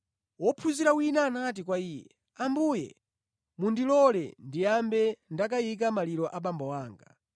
Wophunzira wina anati kwa Iye, “Ambuye, mundilole ndiyambe ndakayika maliro a abambo anga.”